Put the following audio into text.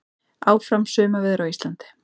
Áfram sumarveður á Íslandi